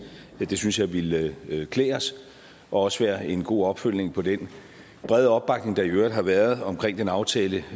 det synes jeg ville klæde klæde os og også være en god opfølgning på den brede opbakning der i øvrigt har været omkring den aftale